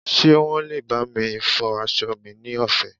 ṣe wan lè bami fọ aso mi ni ọfẹ